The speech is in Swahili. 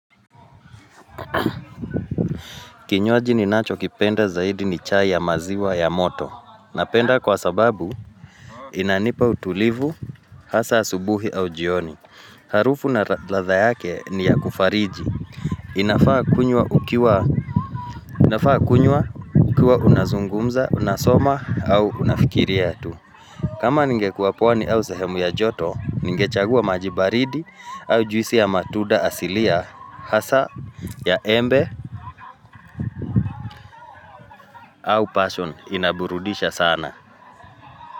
Kinywaji ninacho kipenda zaidi ni chai ya maziwa ya moto Napenda kwa sababu inanipa utulivu hasa asubuhi au jioni Harufu na latha yake ni ya kufariji inafaa kunywa ukiwa unazungumza, unasoma au unafikiri ya tu kama ninge kua pwani au sehemu ya joto Ningechagua majibaridi au juisi ya matuda asilia ya hasa, ya embe, au passion inaburudisha sana.